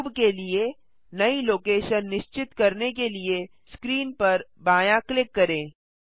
cube के लिए नई लोकेशन निश्चित करने के लिए स्क्रीन पर बायाँ क्लिक करें